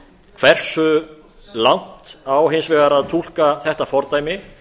hversu langt á hins vegar að túlka þetta fordæmi